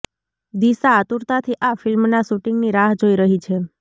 દિશા આતુરતાથી આ ફિલ્મના શૂટિંગની રાહ જોઈ રહી છે